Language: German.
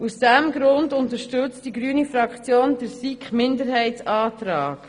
Aus diesem Grund unterstützt die grüne Fraktion den SiK-Minderheitsantrag.